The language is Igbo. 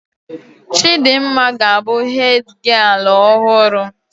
Chidimma ga abụ hedgialụ ọhụrụ